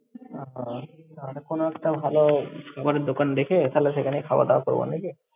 ওও। তাহলে কোনো একটা ভালো খাবারের দোকান দেখে, তাহলে সেখানেই খাওয়া-দাওয়া করব নাকি!